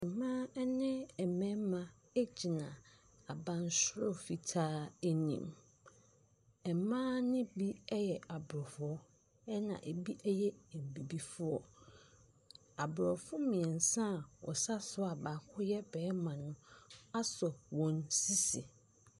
Mmaa ne mmarimagyina abansoro fitaa anim. Mmaa no bi yɛ Aborɔfo, ɛna ɛbi yɛ Abibifoɔ. Aborɔfo mmeɛnsa a wɔsa so a baako yɛ barima no asɔ wɔn sisi.